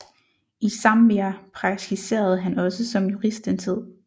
I Zambia praktiserede han også som jurist en tid